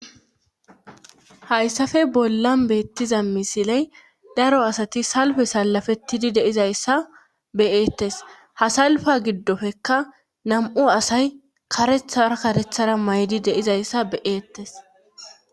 Hayssafe bollan beettiza misiley daro asati salfe salafetidi deizayssa beyeettes hasalfa giddofekka nam7u asay karethar karethara maydi deizayssa beyeettes